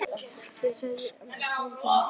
Þín alltaf, Andrea Björk.